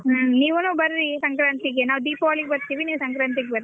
ಹ್ಮ್ ನೀವೂನು ಬರ್ರಿ ಸಂಕ್ರಾಂತಿಗೆ ನಾವ್ ದೀಪಾವಳಿಗ್ ಬರ್ತೀವಿ ನೀವ್ ಸಾಂಕ್ರಾತಿಗ್ ಬರ್ರಿ.